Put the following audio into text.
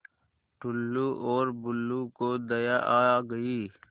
टुल्लु और बुल्लु को दया आ गई